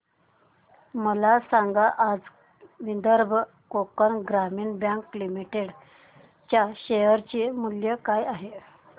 मला सांगा आज विदर्भ कोकण ग्रामीण बँक लिमिटेड च्या शेअर चे मूल्य काय आहे